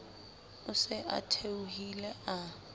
o se a theohile a